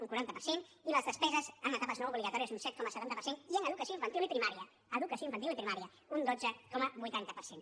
un quaranta per cent i les despeses en etapes no obligatòries un set coma setanta per cent i en educació infantil i primària educació infantil i primària un dotze coma vuitanta per cent